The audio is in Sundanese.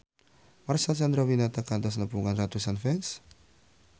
Marcel Chandrawinata kantos nepungan ratusan fans